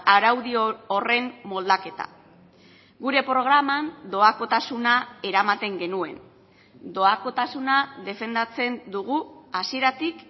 araudi horren moldaketa gure programan doakotasuna eramaten genuen doakotasuna defendatzen dugu hasieratik